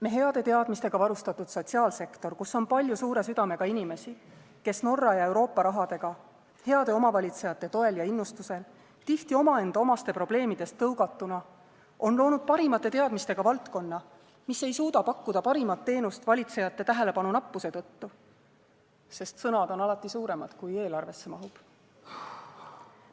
Me heade teadmistega varustatud sotsiaalsektor, kus on palju suure südamega inimesi, kes Norra ja Euroopa rahaga, heade omavalitsejate toel ja innustusel, tihti omaenda omaste probleemidest tõugatuna, on loonud parimate teadmistega valdkonna, mis ei suuda pakkuda parimat teenust valitsejate tähelepanu nappuse tõttu – sest sõnad on alati suuremad, kui eelarvesse mahub.